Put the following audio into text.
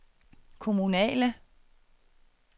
kommunale